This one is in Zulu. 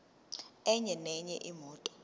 enye nenye imoto